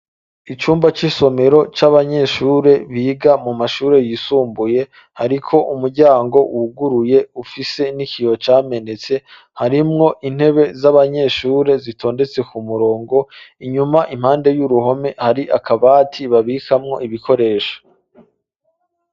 Icumba c'isomero c'abanyeshure biga mu mashure yisumbuye hariko umuryango wuguruye ufise n'ikiyoho camenetse harimwo intebe z'abanyeshure zitondetse ku murongo inyuma impande y'uruhome hari akabati babikamwo ibikoresha.